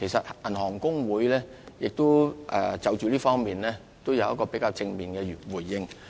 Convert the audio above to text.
其實香港銀行公會亦已就這方面作出較正面的回應。